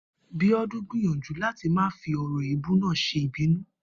Bíó̩dún gbìyànjú láti má fi ò̩rò̩ èébú náà s̩e ìbínú